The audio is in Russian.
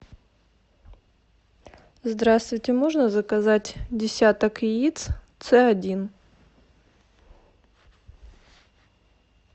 здравствуйте можно заказать десяток яиц цэ один